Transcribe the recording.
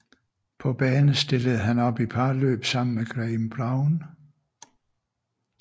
På bane stillede han op i parløb sammen med Graeme Brown